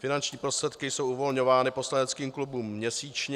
Finanční prostředky jsou uvolňovány poslaneckým klubům měsíčně.